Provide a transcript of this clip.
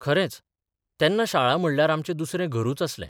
खरेंच, तेन्ना शाळा म्हणल्यार आमचें दुसरें घरूच आसलें.